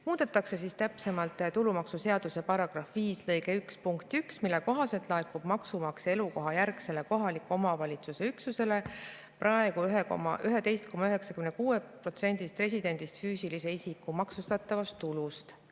Muudetakse tulumaksuseaduse § 5 lõike 1 punkti 1, mille kohaselt laekub maksumaksja elukohajärgsele kohaliku omavalitsuse üksusele praegu 11,96% residendist füüsilise isiku maksustatavast tulust.